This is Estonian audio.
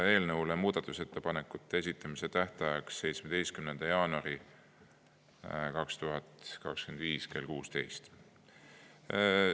Eelnõu muudatusettepanekute esitamise tähtajaks määrati 17. jaanuar 2025 kell 16.